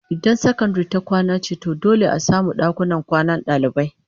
Idan sakandare ta kwana ce to dole a samu dakunan kwanan dalibai